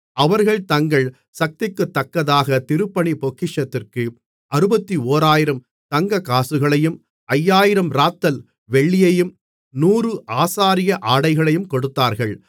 அவர்கள் தங்கள் சக்திக்குத்தக்கதாக திருப்பணிப் பொக்கிஷத்திற்கு 61000 தங்கக்காசுகளையும் 5000 இராத்தல் வெள்ளியையும் 100 ஆசாரிய ஆடைகளையும் கொடுத்தார்கள்